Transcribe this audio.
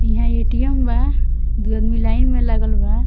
इहाँ ए.टी.अम. बा दू आदमी लाइन में लागल बा।